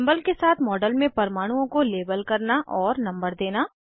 symbol के साथ model में परमाणुओं को लेबल करना और नंबर देना